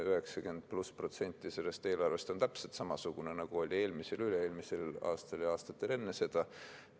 90+ protsenti sellest eelarvest on täpselt samasugune, nagu oli eelmisel ja üle-eelmisel aastal ja aastatel enne seda.